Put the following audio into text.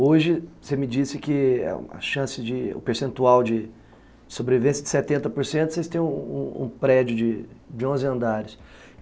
Hoje, você me disse que a chance de, o percentual de sobrevivência de setenta por cento, vocês têm um um prédio de onze andares.